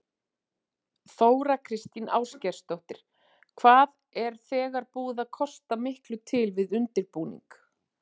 Þóra Kristín Ásgeirsdóttir: Hvað er þegar búið að kosta miklu til við undirbúning?